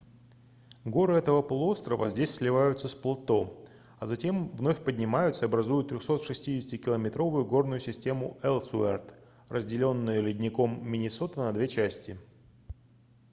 горы этого полуострова здесь сливаются с плато а затем вновь поднимаются и образуют 360-километровую горную систему элсуэрт разделённую ледником миннесота на две части